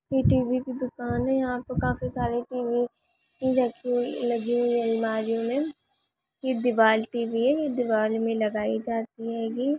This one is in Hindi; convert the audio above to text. यह टी_वी की दुकान है यहा पे काफी सारे टी_वी भी रखी लगी हुई है अलमारी मे ये दीवार टीवी है ये दीवार मे लगाई जाती हेगी ।